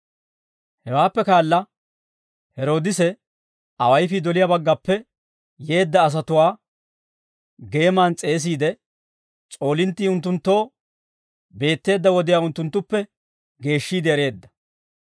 Hewaappe kaala, Heroodise awayifii doliyaa baggappe yeedda asatuwaa geeman s'eesiide, s'oolinttii unttunttoo beetteedda wodiyaa unttunttuppe geeshshiide ereedda.